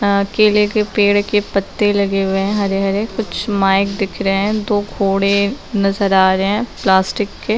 अ केले के पेड़ के पत्ते लगे हुए है हरे हरे कुछ माइक दिख रहे है दो घोड़े नजर आ रहे है प्लास्टिक के।